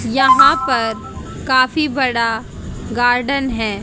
यहां पर काफी बड़ा गार्डन है।